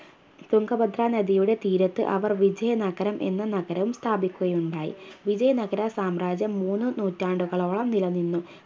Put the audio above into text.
തുങ്കഭദ്ര നദിയുടെ തീരത്ത് അവർ വിജയ നഗരം എന്ന നഗരം സ്ഥാപിക്കുകയുണ്ടായി വിജയ നഗര സാമ്രാജ്യം മൂന്ന് നൂറ്റാണ്ടുകളോളം നിലനിന്നു